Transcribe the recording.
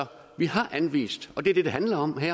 vi har anvist og det er det det handler om her